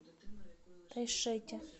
тайшете